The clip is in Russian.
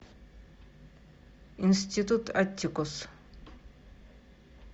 институт аттикус